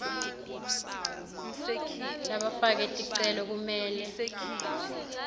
labafake ticelo kumele